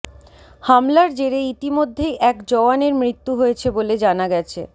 হামলার জেরে ইতিমধ্যেই এক জওয়ানের মৃত্যু হয়েছে বলে জানা গেছে